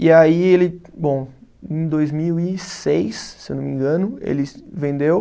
E aí ele, bom, em dois mil e seis, se eu não me engano, ele vendeu.